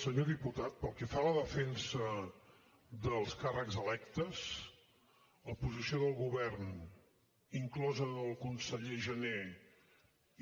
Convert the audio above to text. senyor diputat pel que fa a la defensa dels càrrecs electes la posició del govern inclosa la del conseller jané